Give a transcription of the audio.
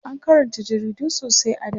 an Karanta jaridu sosai a da